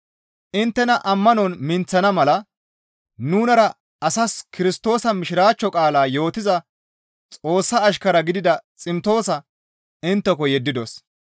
Inttena ammanon minththana mala nunara asas Kirstoosa mishiraachcho qaalaa yootiza Xoossa ashkara gidida Ximtoosa intteko yeddidos.